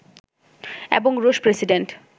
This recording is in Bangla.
এবং রুশ প্রেসিডেন্ট